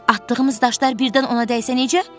Atdığımız daşlar birdən ona dəysə necə?